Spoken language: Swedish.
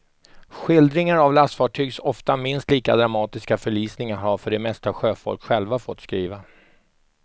Skildringar av lastfartygs ofta minst lika dramatiska förlisningar har för det mesta sjöfolk själva fått skriva.